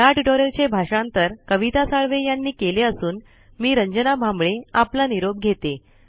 ह्या ट्यूटोरियल मराठी भाषांतर कविता साळवे आणि आवाज रंजना भांबळे यांनी दिला आहे